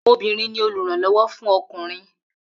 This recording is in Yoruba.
Obìnrin ni olùrànló̩wó̩ fún o̩kùnrin